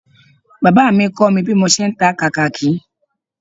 Bàbá mi kọ́ mi bí mo ṣe ń ta kàkàkí